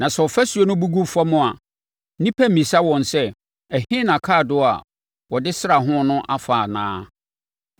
Na sɛ ɔfasuo no bu gu fam a, nnipa remmisa wɔn sɛ, ‘ɛhe na akaadoo a wɔde sraa ho no afa’ anaa?